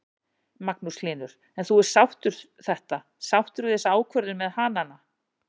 Magnús Hlynur: En þú ert sáttur þetta, sáttur við þessa ákvörðun með hanana?